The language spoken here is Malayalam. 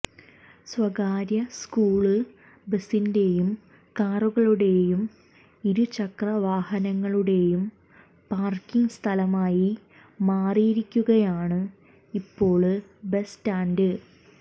സ്വകാര്യ സ്കൂള് ബസിന്റേയും കാറുകളുടേയും ഇരുചക്രവാഹനങ്ങളുടേയും പാര്ക്കിങ് സ്ഥലമായി മാറിയിരിക്കുകയാണ് ഇപ്പോള് ബസ് സ്റ്റാന്ഡ്